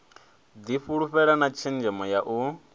difhulufhela na tshenzhemo ya u